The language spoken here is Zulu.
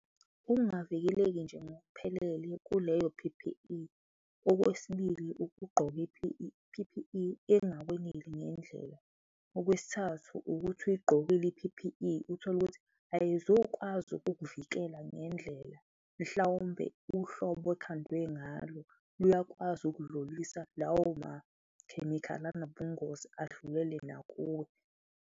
Ukungavikeleki nje ngokuphelele kuleyo P_P_E. Okwesibili, ukugqoka i-P_P_E engakweneli ngendlela, okwesithathu, ukuthi uyigqokile i-P_P_E, uthole ukuthi ayizukwazi ukukuvikela ngendlela, mhlawumbe uhlobo ekhandwe ngalo luyakwazi ukudlulisa lawo makhemikhali anobungozi adlule nakuwe.